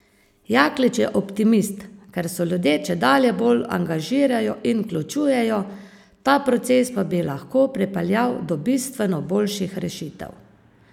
Jaklič je optimist, ker se ljudje čedalje bolj angažirajo in vključujejo, ta proces pa bi lahko pripeljal do bistveno boljših rešitev.